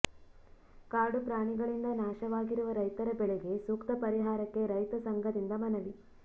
ಕಾಡು ಪ್ರಾಣಿಗಳಿಂದ ನಾಶವಾಗಿರುವ ರೈತರ ಬೆಳೆಗೆ ಸೂಕ್ತ ಪರಿಹಾರಕ್ಕೆ ರೈತ ಸಂಘದಿಂದ ಮನವಿ